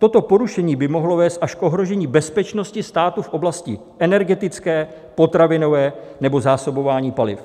Toto porušení by mohlo vést až k ohrožení bezpečnosti státu v oblasti energetické, potravinové nebo zásobování paliv.